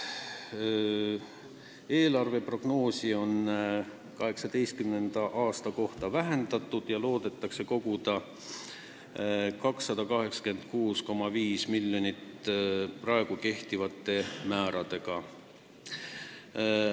Eelarve laekumise prognoosi 2018. aasta kohta on vähendatud: praegu kehtivate määrade juures loodetakse koguda 286,5 miljonit eurot.